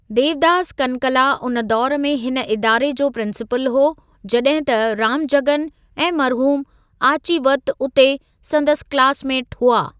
देवदास कनकला उन दौर में हिन इदारे जो प्रिन्सीपल हो जॾहिं त रामजगन ऐं मरहूमु आचीवत उते संदसि क्लास मेटु हुआ।